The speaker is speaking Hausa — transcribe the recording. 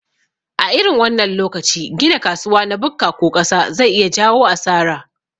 A irin wannan lokaci gina kasuwa na bukka ko ƙasa zai iya jayo asara